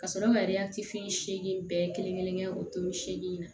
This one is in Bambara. Ka sɔrɔ ka segi bɛɛ kelen kelen o turu seegin na